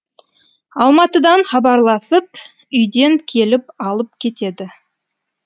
алматыдан хабарласып үйден келіп алып кетеді